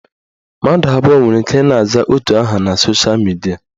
Mmadụ abụọ nwere ike ị na-aza otu aha na sosha midia